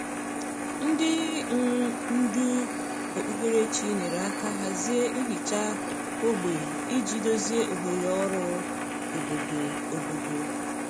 Ndị um ndú okpukperechi nyere aka hazie nhicha ógbè iji dozie oghere ọrụ obodo. obodo.